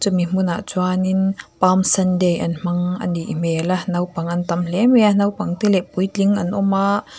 chumi hmun ah chuan in palm sunday an hmang a nih hmel a naupang an tam hle mai a naupang te leh puitling an awm ahh--